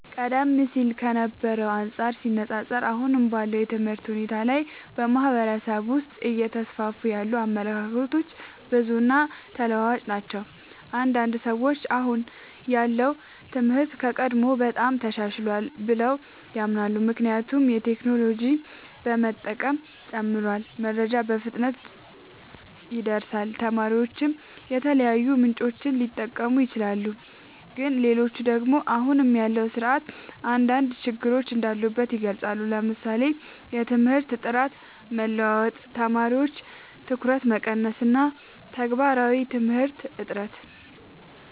ቀደም ሲል ከነበረው ጋር ሲነፃፀር፣ አሁን ባለው የትምህርት ሁኔታ ላይ በማህበረሰብ ውስጥ እየተስፋፉ ያሉ አመለካከቶች ብዙ እና ተለዋዋጭ ናቸው። አንዳንድ ሰዎች አሁን ያለው ትምህርት ከቀድሞው በጣም ተሻሽሏል ብለው ያምናሉ። ምክንያቱም የቴክኖሎጂ መጠቀም ጨምሯል፣ መረጃ በፍጥነት ይደርሳል፣ ተማሪዎችም የተለያዩ ምንጮችን ሊጠቀሙ ይችላሉ። ግን ሌሎች ደግሞ አሁን ያለው ስርዓት አንዳንድ ችግሮች እንዳሉበት ይገልጻሉ፤ ለምሳሌ የትምህርት ጥራት መለዋወጥ፣ የተማሪዎች ትኩረት መቀነስ እና የተግባራዊ ትምህርት እጥረት።